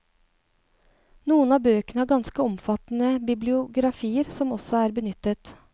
Noen av bøkene har ganske omfattende bibliografier som også er benyttet.